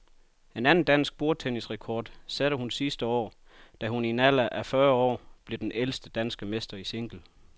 En anden dansk bordtennisrekord satte hun sidste år, da hun i en alder af en og fyrre år blev den ældste danske mester i single.